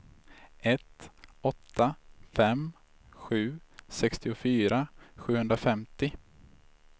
ett åtta fem sju sextiofyra sjuhundrafemtio